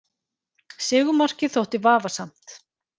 Sigurmarkið þótti vafasamt